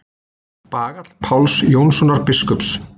Bagall Páls Jónssonar biskups.